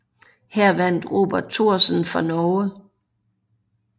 Her vandt Robert Thoresen fra Norge